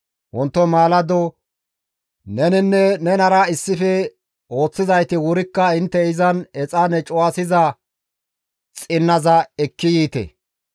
Wonto maalado neninne nenara issife ooththizayti wurikka intte izan exaane cuwasiza xinnaza ekki yiite.